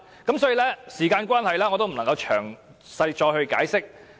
由於時間關係，我不能再作詳細解釋。